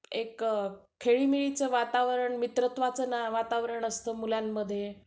एक खेळीमेळीचं वातावरण, मित्रत्वाचं वातावरण असतं मुलांमध्ये